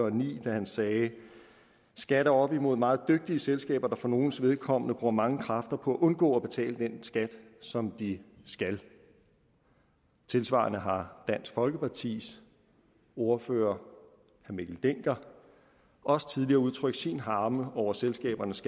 og ni da han sagde skat er oppe imod meget dygtige selskaber der for nogles vedkommende bruger mange kræfter på at undgå at betale den skat som de skal tilsvarende har dansk folkepartis ordfører herre mikkel dencker også tidligere udtrykt sin harme over selskabernes